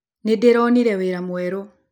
Nĩndĩronire wĩra mwerũ